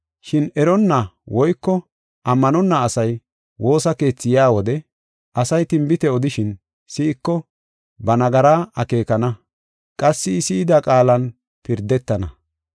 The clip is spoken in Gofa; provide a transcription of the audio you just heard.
Shin eronna woyko ammanonna asay woosa keethi yaa wode asay tinbite odishin, si7iko ba nagaraa akeekana; qassi I si7ida qaalan pirdetana.